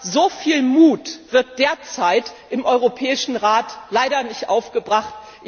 Aber so viel Mut wird derzeit im Europäischen Rat leider nicht aufgebracht.